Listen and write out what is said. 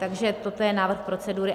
Takže toto je návrh procedury.